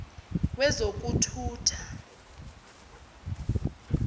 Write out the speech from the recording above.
wezokuthutha